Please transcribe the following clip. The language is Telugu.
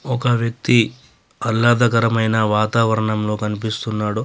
ఒక వ్యక్తి అల్లాదకరమైన వాతావరణంలో కనిపిస్తున్నాడు.